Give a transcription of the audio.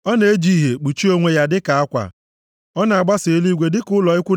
Ọ na-eji ìhè kpuchie onwe ya dịka akwa; ọ na-agbasa eluigwe dịka ụlọ ikwu